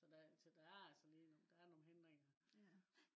så der så der altså lige der er nogle hindringer